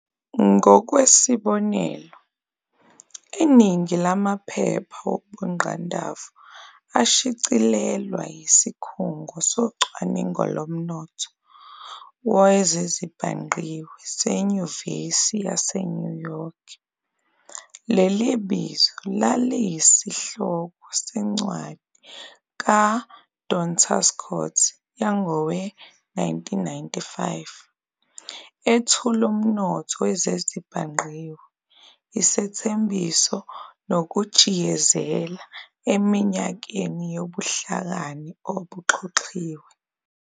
Ngokwesibonelo, iningi lamaphepha wobungqandavu ashicilelwa yisiKhungo soCwaningo lomNotho wezezibhangqiwe seNyuvesi yase-New York. Leli bizo laliyisihloko sencwadi ka- Don Tapscott yangowe-1995, ethuli "UmNotho wezezibhangqiwe- Isethembiso nokujiyezela eminyakeni yobuhlakani obuxhoxhiwe.